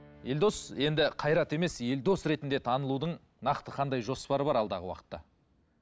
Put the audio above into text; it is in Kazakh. елдос енді қайрат емес елдос ретінде танылудың нақты қандай жоспары бар алдағы уақытта